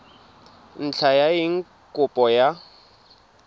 ntlha ya eng kopo ya